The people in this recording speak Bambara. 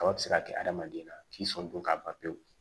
Kaba bɛ se ka kɛ adamaden na k'i sɔn don ka ban pewu